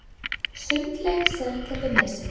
Sundlaug Seltjarnarnesi